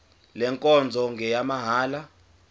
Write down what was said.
le nkonzo ngeyamahala